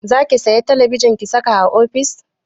Zaki saya talabijin ki saka a ofis?